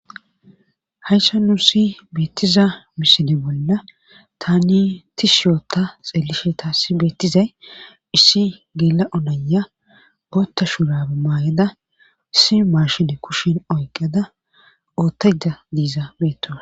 Hayssa nu si beettiza misine bolla tani tis shiyoota xeelishe taassi beettizay issi geela onaya ootta shuraba maayeda issi maashine kushin oyqada oottaja diiza beettoa.